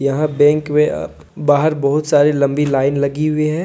यहां बैंक में अह बाहर बहुत सारी लंबी लाइन लगी हुई है।